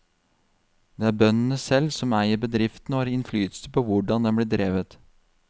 Det er bøndene selv som eier bedriften og har innflytelse på hvordan den blir drevet.